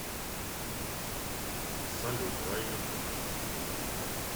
салют рай ютуб